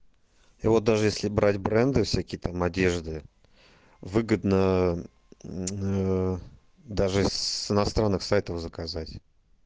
и вот даже если брать бренды всякие там одежды выгодно даже с иностранных сайтов заказать